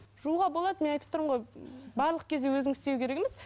жууға болады мен айтып тұрмын ғой барлық кезде өзің істеу керек емес